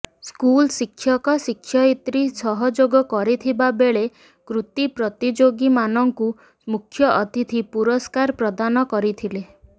ସ୍କଲ ଶିକ୍ଷକ ଶିକ୍ଷୟିତ୍ରୀ ସହଯୋଗ କରିଥିବା ବେଳେ କୃତି ପ୍ରତିଯୋଗୀ ମାନଙ୍କୁ ମୁଖ୍ଯ ଅତିଥି ପୁରସ୍କାର ପ୍ରଦାନ କରିଥିଲେ